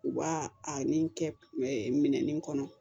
U b'a a ni kɛ minɛnni kɔnɔ